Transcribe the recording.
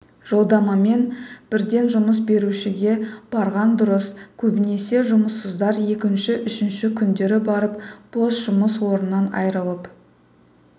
жолдамамен бірден жұмыс берушіге барған дұрыс көбінесе жұмыссыздар екінші үшінші күндері барып бос жұмыс орнынан айырылып